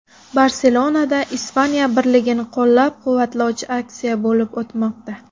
Barselonada Ispaniya birligini qo‘llab-quvvatlovchi aksiya bo‘lib o‘tmoqda.